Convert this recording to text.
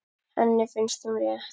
Henni finnst hún rétt.